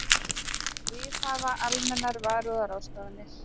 Viðhafa almennar varúðarráðstafanir.